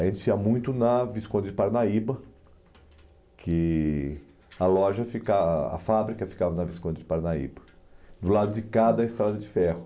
A gente ia muito na Visconde de Parnaíba, que a loja fica a fábrica ficava na Visconde de Parnaíba, do lado de cá da Estrada de Ferro.